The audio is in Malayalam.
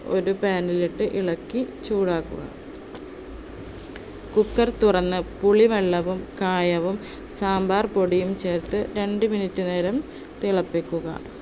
ഒരു pan ഇട്ട് ഇളക്കി ചൂടാക്കുക. cooker തുറന്ന് പുളിവെള്ളവും, കായവും, സാമ്പാർ പൊടിയും ചേർത്ത് രണ്ട് minute നേരം തിളപ്പിക്കുക.